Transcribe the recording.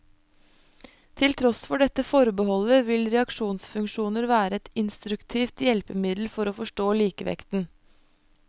Til tross for dette forbeholdet, vil reaksjonsfunksjoner være et instruktivt hjelpemiddel for å forstå likevekten.